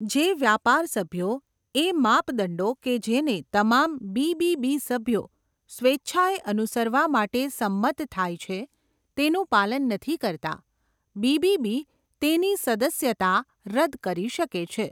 જે વ્યાપાર સભ્યો, એ માપદંડો કે જેને તમામ બીબીબી સભ્યો સ્વેચ્છાએ અનુસરવા માટે સંમત થાય છે, તેનું પાલન નથી કરતા, બીબીબી તેની સદસ્યતા રદ કરી શકે છે.